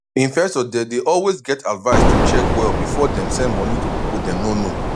investors dey dey always get advice to check well before dem send money to people dem no know